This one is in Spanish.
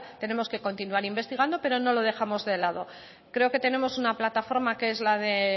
tenemos que continuar investigando pero no lo dejamos de lado creo que tenemos una plataforma que es la de